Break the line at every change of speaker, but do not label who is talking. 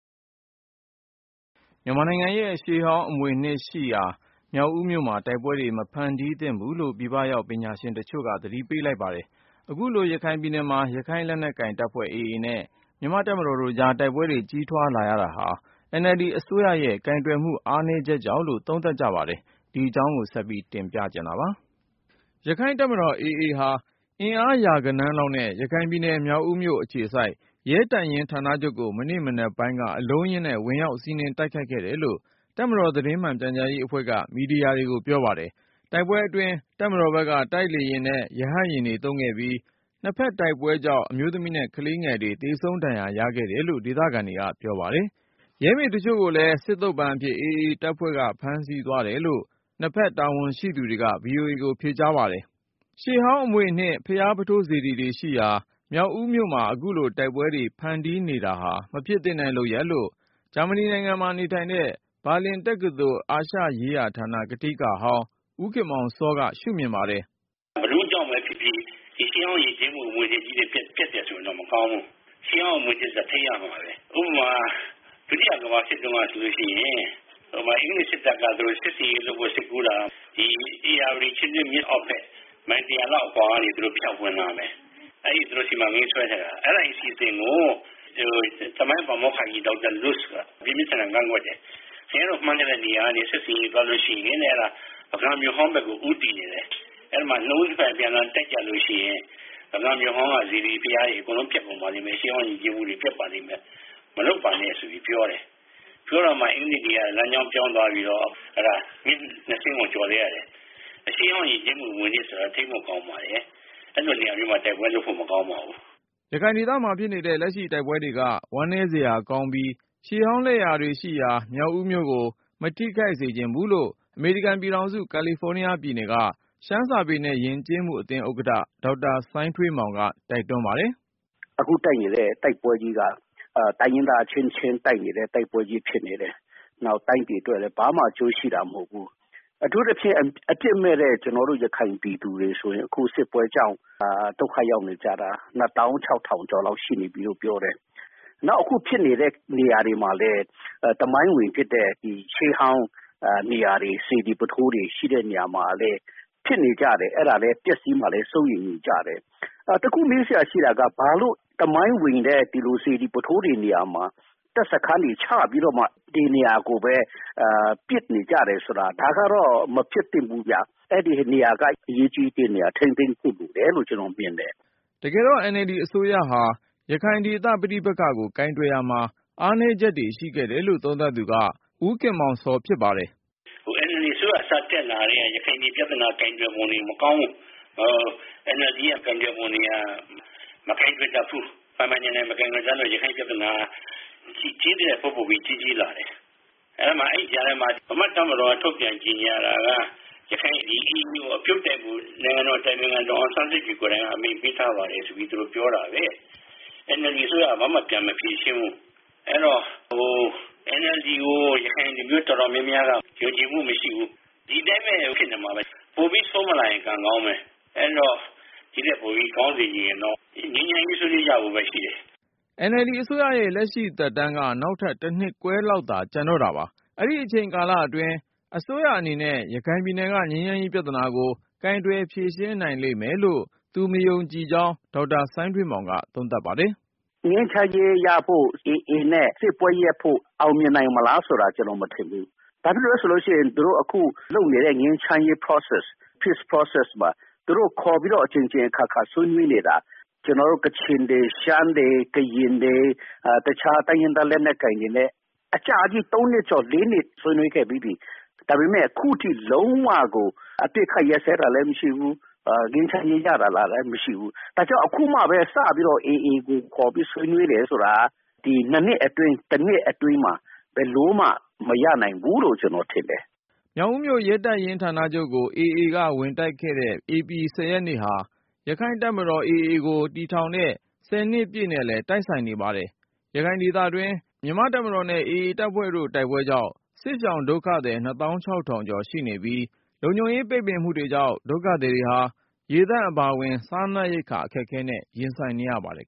မြန်မာနိုင်ငံရဲ့ရှေးဟောင်း အမွေအနှစ်တွေရှိရာ မြောက်ဦးမြို့မှာ တိုက်ပွဲတွေ မဖြစ်ပွားသင့်ဘူးလို့ ပြည်ပရောက် တိုင်းရင်းသားတချို့က သတိပေး လိုက်ပါတယ်။ အခုလို ရခိုင်ပြည်နယ်မှာ ရခိုင့်လက်နက်ကိုင်တပ်ဖွဲ့ AA နဲ့ မြန်မာ့ တပ်မတော်တို့ကြား တိုက်ပွဲတွေ ကြီးထွားလာရတာဟာ NLD အစိုးရရဲ့ ကိုင်တွယ်မှု အားနည်းချက်ကြောင့်လို့ သုံးသပ်ကြပါတယ်။ ကိုဉာဏ်ဝင်းအောင်က တင်ပြထားပါတယ်။ ရက္ခိုင့်တပ်မတော် AA ဟာ အင်အား ရာဂဏန်းလောက်နဲ့ ရခိုင်ပြည်နယ် မြောက်ဦးမြို့ အခြေစိုက် ရဲတပ်ရင်း ဌာနချုပ်ကို မနေ့ မနက်ပိုင်းက အလုံးအရင်းနဲ့ ဝင်ရောက်စီးနင်း တိုက်ခိုက်ခဲ့တယ်လို့ တပ်မတော် သတင်းမှန်ပြန်ကြားရေး အဖွဲ့က မီဒီယာတွေကို ပြောပါတယ်။ တိုက်ပွဲအတွင်း တပ်မတော်ဘက်က တိုက်လေယာဉ်နဲ့ ရဟတ်ယာဉ်တွေ သုံးခဲ့ပြီး နှစ်ဘက် တိုက်ပွဲကြောင့် အမျိုးသမီးနဲ့ ကလေးငယ်တွေ သေဆုံးဒဏ်ရာ ရခဲ့တယ်လို့ ဒေသခံတွေက ပြောပါတယ်။ ရဲမေတချို့လည်း စစ်သုံ့ပန်းအဖြစ် အဖမ်းဆီးခံရတယ်လို့ နှစ်ဖက်တပ် တာဝန်ရှိသူတွေက VOA ကိုဖြေကြားခဲ့ပါတယ်။ ရှေးဟောင်းအမွေအနှစ် ဘုရားပုထိုးစေတီတွေရှိရာ မြောက်ဦးမြို့မှာ အခုလို တိုက်ပွဲတွေ ဖန်တီးနေတာဟာ မဖြစ်သင့်တဲ့ လုပ်ရပ်လို့ ဂျာမနီမှာ နေထိုင်တဲ့ ဘာလင်တက္ကသိုလ် အာရှရေးရာဌာန ကထိကဟောင်း ဦးခင်မောင်စောက ရှုမြင်ပါတယ်။
“ ဘယ်သူ့ကြောင့်ဘဲ ဖြစ်ဖြစ် ဒီရှေးဟောင်း ယဉ်ကျေးမှု အမွေအနှစ်ကြီးတွေ ပျက်တယ်ဆိုရင်တော့ မကောင်းဘူး။ ရှေးဟောင်း အမွေအနှစ်ဆိုတာ ထိန်းသိမ်း ရမှာဘဲ။ ဥပမာ ဒုတိယ ကမ္ဘာစစ်တုန်းက ဆိုရင် အင်္ဂလိပ် စစ်တပ်က သူတို့ စစ်ဆင်ရေး လုပ်ဖို့ စိတ်ကူးတာက ဒီ ဧရာဝတီ ချင်းတွင်းမြစ် အောက်ဘက် မိုင် ၁၀၀ လောက် အကွာက ဖြန့်ဝင်လာမယ်။ အဲဒီ သူတို့ စီမံကိန်းဆွဲခဲ့တာ အဲဒီအစီအစဉ်ကို သမိုင်း ပါမောက္ခကြီး ဒေါက်တာ လုစ်က ပြင်းပြင်းထန်ထန် ကန့်ကွက်တယ်။ ခင်ဗျားတို့ မှန်းတဲ့ နေရာကနေ စစ်ဆင်ရေး သွားလို့ ရှိရင်တဲ့ ပုဂံမြို့ဟောင်းဘက်ကို ဦးတည်နေတယ်။ နှစ်ဦး နှစ်ဘက် အပြန်အလှန် တိုက်ကြလို့ ရှိရင် ပုဂံမြို့ဟောင်းက စေတီ ဘုရားတွေ အကုန်လုံး ပျက်ကုန်ပါလိမ့်မယ်။ ရှေးဟောင်း ယဉ်ကျေးမှုတွေ ပျက်ပါလိမ့်မယ်။ မလုပ်ပါနဲ့ ဆိုပြီး ပြောတယ်။ ပြောတာမှ အင်္ဂလိပ်တွေက လမ်းကြောင်းပြောင်းပြီးတော့ မြစ်နှစ်စင်းကို ကျော်လိုက်ရတယ်။ ရှေးဟောင်း ယဉ်ကျေးမှု အမွေအနှစ်ဆိုတာ ထိန်းဖို့ ကောင်းပါတယ်။ အဲလို နေရာမျိုးမှာ တိုက်ပွဲ လုပ်ဖို့ မကောင်းပါဘူး။
” ရခိုင်ဒေသမှာဖြစ်နေတဲ့ လက်ရှိတိုက်ပွဲတွေက ဝမ်းနည်းစရာကောင်းပြီး ရှေးဟောင်းလက်ရာတွေရှိရာ မြောက်ဦးမြို့ကို မထိခိုက်စေချင်ဘူးလို့ အမေရိကန်ပြည်ထောင်စု ကာလီဖိုးနီးယားပြည်နယ်က ရှမ်းစာပေနဲ့ယဉ်ကျေးမှုအသင်း ဥက္ကဌ ဒေါက်တာ စိုင်းထွေးမောင်က တိုက်တွန်း ပါတယ်။
“ အခု တိုက်နေတဲ့ တိုက်ပွဲကြီးက တိုင်းရင်းသား အချင်းချင်း တိုက်နေတဲ့ တိုက်ပွဲကြီး ဖြစ်နေတယ်။ နောက် တိုင်းပြည် အတွက်လည်း ဘာမှ အကျိုးရှိတာ မဟုတ်ဘူး။ အထူးသဖြင့် အပြစ်မဲ့တဲ့ ရခိုင်ပြည်သူတွေ ဆိုရင် အခု စစ်ပွဲကြောင့် ဒုက္ခရောက်နေကြတာ ၂ သောင်း ၆ ထောင် ကျော်လောက် ရှိနေပြီလို့ ပြောတယ်။ နောက် အခု ဖြစ်နေတဲ့ နေရာတွေမှာလည်း သမိုင်းဝင် ဖြစ်တဲ့ ရှေးဟောင်း နေရာတွေ စေတီပုထိုးတွေ ရှိတဲ့ နေရာမှာလည်း ဖြစ်နေကြတယ်။ အဲဒါလည်း ပျက်စီးမှာလည်း စိုးရိမ်နေကြတယ်။ တခု မေးစရာ ရှိတာက ဘာလို့ သမိုင်းဝင်တဲ့ ဒီလို စေတီ ပုထိုးတွေ နေရာမှာ တပ်စခန်းတွေ ချပြီးတော့မှ ဒီနေရာကိုဘဲ ပစ်နေကြတယ်ဆိုတာ ဒါကတော့ မဖြစ်သင့်ဘူးဗျ။ အဲဒီနေရာက အရေးကြီးတဲ့ နေရာ ထိန်းသိမ်းဖို့ လိုတယ်လို့ ကျနော် မြင်တယ်
။ ” တကယ်တော့ NLD အစိုးရဟာ ရခိုင်ဒေသပဋိပက္ခကို ကိုင်တွယ်ရာမှာ အားနည်းချက်တွေ ရှိခဲ့တယ်လို့ သုံးသပ်သူက ဦးခင်မောင်စော ဖြစ်ပါတယ်။
“ NLD အစိုးရ စတက်လာ ကတည်းက ရခိုင်ပြည် ပြသနာ ကိုင်တွယ်ပုံတွေ မကောင်းဘူး။ NLD ရဲ့ ကိုင်တွယ်ပုံတွေက မကိုင်တွယ်တတ်ဘူး။ ပိုင်ပိုင်နိုင်နိုင် မကိုင်တွယ်တတ်တော့ ရခိုင့် ပြသနာက ကြီးသထက် ပိုပိုပြီး ကြီးကြီးလာတယ်။ အဲဒီမှာ အဲဒီကြားထဲမှာ ဗမာ့ တပ်မတော်က ထုတ်ပြန် ကြေညာတာက ရခိုင် ဒီ AA ကို အပြုတ်တိုက်ဖို့ နိုင်ငံတော် အတိုင်ပင်ခံ ဒေါ်အောင်ဆန်းစုကြည် ကိုယ်တိုင်က အမိန့်ပေးထားပါတယ် ဆိုပြီး သူတို့ ပြောတာဘဲ။ NLD အစိုးရက ဘာမှ ပြန်မဖြေရှင်းဘူး။ အဲတော့ NLD ကို ရခိုင်လူမျိုး တော်တော်များများက ယုံကြည်မှု မရှိဘူး။ ဒီတိုင်းဘဲ ဖြစ်နေမှာဘဲ။ ပိုပြီး ဆိုးမလာရင် ကံကောင်းဘဲ။ အဲတော့ ဒီထက်ပိုပြီး ကောင်းစေချင်ရင်တော့ ငြိမ်းချမ်းရေး ဆွေးနွေးကြဖို့ဘဲ ရှိတယ်
။” NLD အစိုးရရဲ့ လက်ရှိသက်တမ်းက နောက်ထပ် တနှစ်ခွဲလောက်သာ ကျန်တော့တာပါ။ အဲဒီ အချိန်ကာလအတွင်း အစိုးရအနေနဲ့ ရခိုင်ပြည်နယ်က ငြိမ်းချမ်းရေးပြဿနာကို ကိုင်တွယ် ဖြေရှင်း နိုင်လိမ့်မယ်လို့ သူမယုံကြည်ကြောင်း ဒေါက်တာ စိုင်းထွေးမောင်က သုံးသပ်ပါတယ်
။ “ ငြိမ်းချမ်းရေး ရဖို့ AA နဲ့စစ်ပွဲရပ်ဖို့ အောင်မြင်နိုင်မလား ဆိုတာ ကျနော် မထင်ဘူး။ ဘာဖြစ်လို့လဲ ဆိုရင် သူတို့ အခု လုပ်နေတဲ့ ငြိမ်းချမ်းရေး Process မှာ သူတို့ ခေါ်ပြီးတော့ အကြိမ်ကြိမ် အခါခါ ဆွေးနွေးပြီးနေတာ ကချင်တွေ၊ ရှမ်းတွေ၊ ကရင်တွေ၊ တခြား တိုင်းရင်းသား လက်နက်ကိုင်တွေနဲ့ အကြာကြီး သုံးနှစ်ကျော် လေးနှစ် ဆွေးနွေးခဲ့ပြီးပြီ။ ဒါပေမယ့် အခုထိ လုံးဝကို အပစ်အခတ် ရပ်စဲတာလည်း မရှိဘူး။ ငြိမ်းချမ်းရေး ရလာတာလည်း မရှိဘူး။ ဒါကြောင့် အခုမှဘဲ စပြီးတော့ AA ကို ခေါ်ပြီး ဆွေးနွေးတာက ဒီ တနှစ် အတွင်း ၂ နှစ် အတွင်းမှာ ဘယ်လိုမှ မရနိုင်ဘူးလို့ ကျနော် ထင်တယ်။
” မြောက်ဦးမြို့ရဲတပ်ရင်း ဌာနချုပ်ကို AA က ဝင်တိုက်ခဲ့တဲ့ ဧပြီလ ရက်နေ့ဟာ ရက္ခိုင့်တပ်မတော် AA ကို ထူထောင်တဲ့ နှစ်ပြည့်နေ့ နဲ့လည်း တိုက်ဆိုင်နေပါတယ်။ ရခိုင်ဒေသတွင်း မြန်မာ့တပ်မတော်နဲ့AA တို့ရဲ့ တိုက်ပွဲတွေကြောင့် စစ်ရှောင်ဒုက္ခသည် ၂၆,၀၀၀ ကျော် ရှိနေပြီး လုံခြုံရေးပိတ်ပင်မှုတွေကြောင့် ဒုက္ခသည်တွေဟာ ရေသန့်အပါအဝင် စားနပ်ရိက္ခာ အခက်အခဲနဲ့ ရင်ဆိုင်နေရပါတယ်